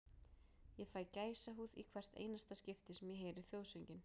Ég fæ gæsahúð í hvert einasta skipti sem ég heyri þjóðsönginn.